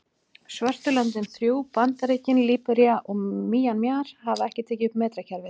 Svörtu löndin þrjú, Bandaríkin, Líbería og Mjanmar hafa ekki tekið upp metrakerfið.